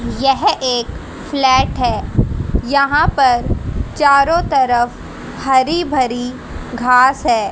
यह एक फ्लैट है यहां पर चारों तरफ हरी भरी घास है।